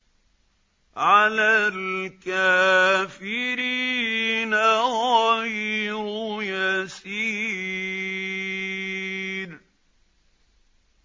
عَلَى الْكَافِرِينَ غَيْرُ يَسِيرٍ